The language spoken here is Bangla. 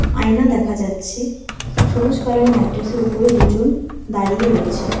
আয়না দেখা যাচ্ছে সবুজ কালার ম্যাট্রেসের উপরে দুজন দাঁড়িয়ে রয়েছে।